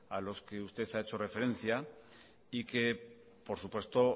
a los que usted ha hecho referencia y que por supuesto